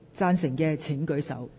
贊成的請舉手。